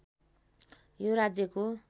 यो राज्यको